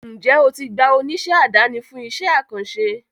Njẹ o ti gba oníṣẹ́ àdáni fún iṣẹ́ àkànṣe?